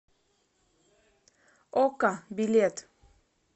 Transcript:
ока билет